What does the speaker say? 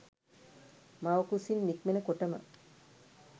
මව්කුසින් නික්මෙන කොටම